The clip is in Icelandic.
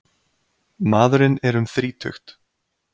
Maðurinn er um þrítugt.